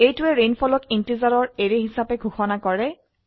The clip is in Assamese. এইটোৱে rainfallক ইন্টিজাৰৰ এৰে হিসাবে ঘোষনা কৰে